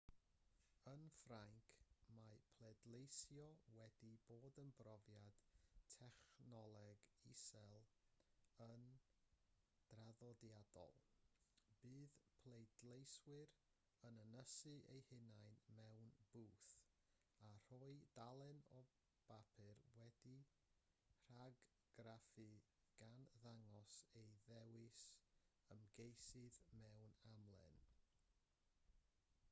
yn ffrainc mae pleidleisio wedi bod yn brofiad technoleg isel yn draddodiadol bydd pleidleiswyr yn ynysu eu hunain mewn bwth a rhoi dalen o bapur wedi'i rhagargraffu gan ddangos eu dewis ymgeisydd mewn amlen